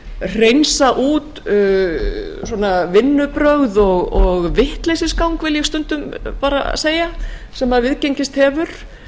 hreinsa út svona vinnubrögð og vitleysisgang vil ég stundum bara segja sem viðgengist hefur